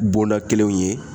Bonda kelenw ye